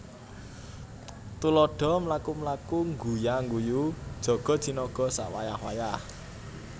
Tuladha mlaku mlaku ngguya ngguyu jaga jinaga sawayah wayah